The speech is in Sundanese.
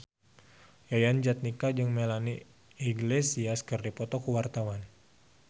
Yayan Jatnika jeung Melanie Iglesias keur dipoto ku wartawan